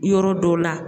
Yɔrɔ dɔw la